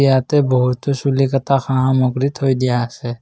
ইয়াতে বহুতো চুলি কটা সা-সামগ্ৰী থৈ দিয়া আছে।